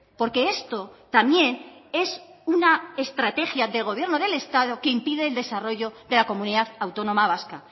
porque esto también es una estrategia del gobierno del estado que impide el desarrollo de la comunidad autónoma vasca